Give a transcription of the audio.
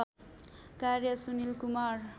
कार्य सुनिल कुमार